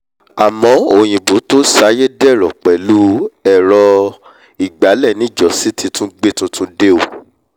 àmọ́ o òyìnbó tó saiyé dẹ̀rọ̀ pẹ̀lú ẹ̀rọ-ìgbálẹ̀ níjọ́sí ti tún gbé tuntun dé o